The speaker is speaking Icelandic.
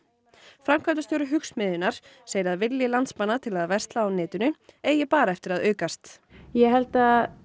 framkvæmdastjóri Hugsmiðjunnar segir að vilji landsmanna til að versla á netinu eigi bara eftir að aukast ég held að